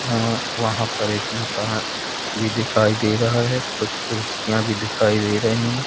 हम्म वहां पर एक मकान भी दिखाई दे रहा है कुछ कुर्सियां भी दिखाई दे रही है।